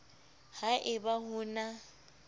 ha e ba ho na